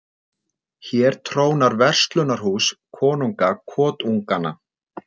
Hér trónar verslunarhús, konunga kotunganna.